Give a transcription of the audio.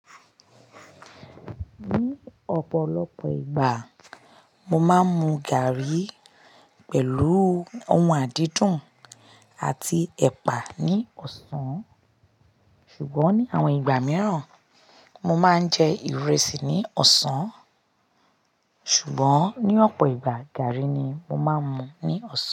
Ní ọ̀pọ̀lọpọ̀ ìgbà, mo máa ń mu gàrí pẹ̀lú ohun àdídùn àti ẹ̀pà ní ọ̀sán, ṣùgbọ́n ní àwọn ìgbà mìíràn mo máa ń jẹ ìrẹsì ní ọ̀sán. Ṣùgbọ́n ní ọ̀pọ̀ ìgbà, gàrí ni mo máa ń mu ní ọ̀sán.